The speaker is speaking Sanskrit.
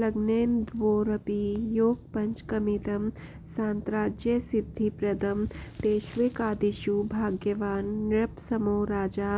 लग्नेन्द्वोरपि योगपञ्चकमिदं सान्त्राज्यसिद्धिप्रदं तेष्वेकादिषु भाग्यवान् नृपसमो राजा